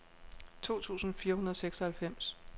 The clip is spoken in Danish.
to tusind fire hundrede og seksoghalvfems